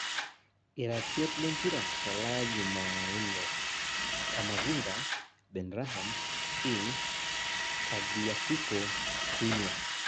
Iratiot lempira Tolaya jumaijne; Camavinga, Benharam, king, Tagliafico, skriniar